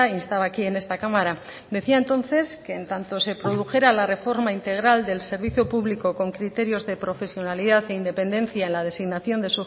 instaba aquí en esta cámara decía entonces que en tanto se produjera la reforma integral del servicio público con criterios de profesionalidad e independencia en la designación